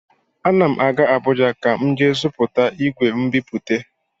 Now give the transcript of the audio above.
Ana m aga Abụja ka m jee zụta igwe mbipute.